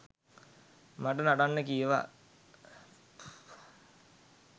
මට නටන්න කීවා